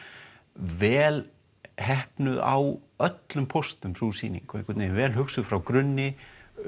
vel heppnuð á öllum póstum sú sýning vel hugsuð frá grunni